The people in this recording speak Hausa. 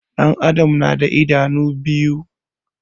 Ɗan adam na da idanu biyu